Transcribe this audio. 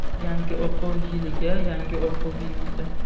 Yangi o‘quv yiliga — yangi o‘quv binosi.